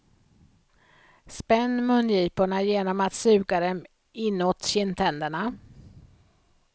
Spänn mungiporna genom att suga dem inåt kindtänderna.